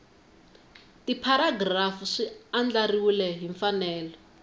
tipharagirafu swi andlariwile hi mfanelo